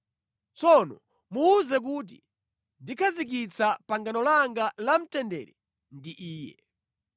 Tsono muwuze kuti ndikhazikitsa pangano langa la mtendere ndi iye.